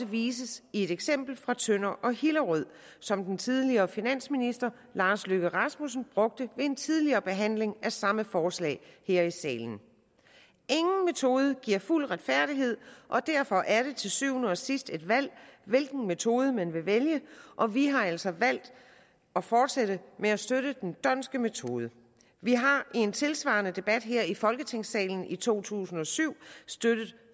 viste sig i de eksempler fra tønder og hillerød som den tidligere finansminister lars løkke rasmussen brugte ved en tidligere behandling af samme forslag her i salen ingen metode giver fuld retfærdighed og derfor er det til syvende og sidst et valg hvilken metode man vil vælge og vi har altså valgt at fortsætte med at støtte den dhondtske metode vi har i en tilsvarende debat her i folketingssalen i to tusind og syv støttet